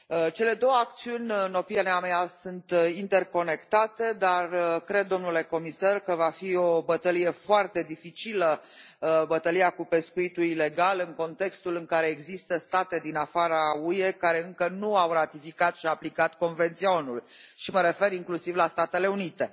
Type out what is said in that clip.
Cele două acțiuni, în opinia mea, sunt interconectate, dar cred, domnule comisar, că va fi o bătălie foarte dificilă, bătălia cu pescuitul ilegal, în contextul în care există state din afara UE care încă nu au ratificat și aplicat Convenția ONU, și mă refer inclusiv la Statele Unite.